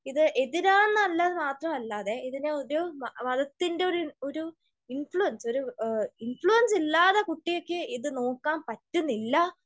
ഇത് എതിരാണ് എന്നത് മാത്രം അല്ലാതെ ഇതിനെ ഒരു മതത്തിൻ്റെ ഒരു ഒരു ഇൻഫ്ലുവെൻസ്, ഒരു ഇൻഫ്ലുവെൻസ് ഇല്ലാതെ കുട്ടിക്ക് ഇത് നോക്കാൻ പറ്റുന്നില്ല